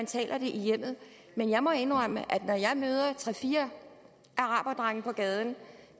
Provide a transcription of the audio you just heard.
taler det i hjemmet men jeg må indrømme at når jeg møder tre fire araberdrenge på gaden